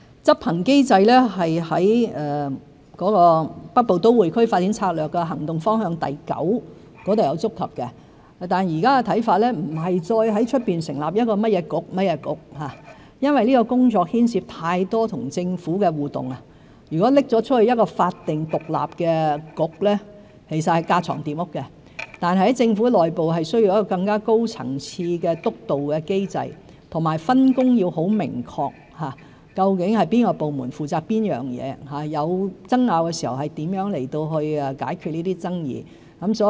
執行機制在《北部都會區發展策略》的重點行動方向第九點有觸及到，但現在的看法不再是在外成立一個局，因為這項工作牽涉太多跟政府的互動，如果交予法定獨立的局，其實是架床疊屋；但在政府內部需要一個更高層次的督導機制，分工要很明確，究竟甚麼部門負責甚麼工作，有爭拗時如何去解決爭議。